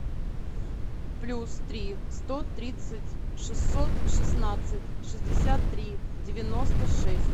плюс три сто тридцать шестьсот шестнадцать шестьдесят три девяносто шесть